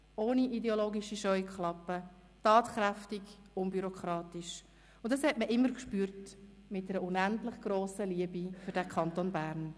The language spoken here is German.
ohne ideologische Scheuklappen, tatkräftig, unbürokratisch und – das hat man immer gespürt – mit einer unendlich grossen Liebe für den Kanton Bern.